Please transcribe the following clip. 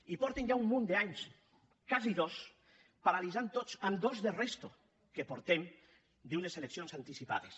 i fa ja un munt d’anys quasi dos que ho paralitzen amb dos de resta que portem d’unes eleccions anticipades